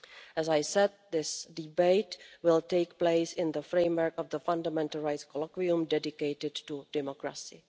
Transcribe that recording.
As I said, this debate will take place in the framework of the Fundamental Rights Colloquium dedicated to democracy.